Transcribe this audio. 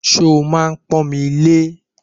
Ṣé o máa pọ́n mi lé